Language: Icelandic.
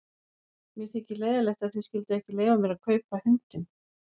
Mér þykir leiðinlegt að þið skylduð ekki leyfa mér að kaupa hundinn.